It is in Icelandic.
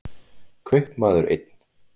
Kaupmaður einn.